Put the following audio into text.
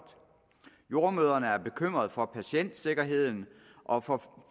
jordemødrene er bekymret for patientsikkerheden og for